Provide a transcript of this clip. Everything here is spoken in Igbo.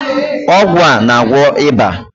Ọgwụ a na-agwọ ịba.